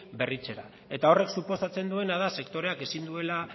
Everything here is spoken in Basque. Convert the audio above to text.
berritzea eta horrek suposatzen duena da sektoreak ezin duela